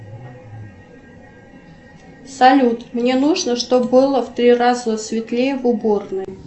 салют мне нужно чтоб было в три раза светлее в уборной